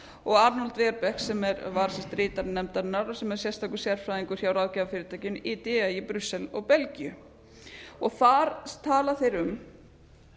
og arnold verbeek sem var ritari nefndarinnar sem er sérstakur sérfræðingur hjá ráðgjafarfyrirtækinu á í brussel og belgíu þar tala þeir um